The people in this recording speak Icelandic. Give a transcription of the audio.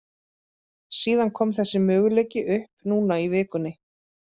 Síðan kom þessi möguleiki upp núna í vikunni.